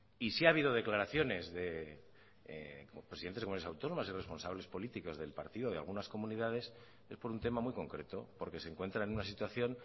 y si ha habido declaraciones de presidentes de comunidades autónomas y responsables políticos del partido de algunas comunidades es por un tema muy concreto porque se encuentran en una situación